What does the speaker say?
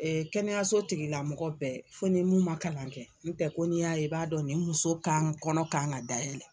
Ee kɛnɛyaso tigilamɔgɔ bɛɛ ,fo ni min ma kalan kɛ n tɛ ko ni y'a ye i b'a dɔn nin muso kɔnɔ kan ka dayɛlɛ.